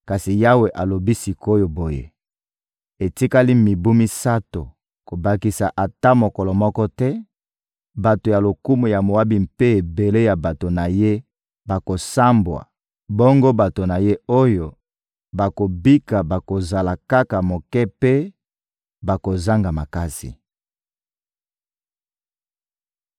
Kasi Yawe alobi sik’oyo boye: «Etikali mibu misato, kobakisa ata mokolo moko te, bato ya lokumu ya Moabi mpe ebele ya bato na ye bakosambwa, bongo bato na ye oyo bakobika bakozala kaka moke mpe bakozanga makasi.»